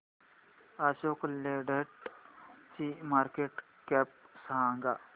Ashok Leyland ची market cap सांगा